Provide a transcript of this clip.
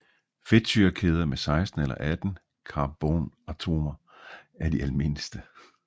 Fedtsyrekæder med 16 eller 18 carbonatomer er de almindeligste